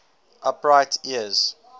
upright ears